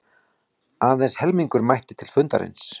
Aðeins helmingur mætti til fundarins